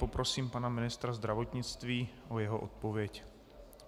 Poprosím pana ministra zdravotnictví o jeho odpověď.